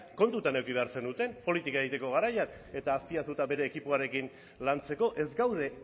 kontutan eduki behar zenuten politika egiteko garaian eta azpiazu eta bere ekipoarekin lantzeko ez gaude